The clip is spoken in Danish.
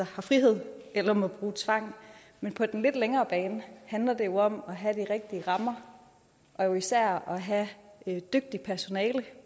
frihed eller må bruge tvang men på den lidt længere bane handler det om at have de rigtige rammer og især at have dygtigt personale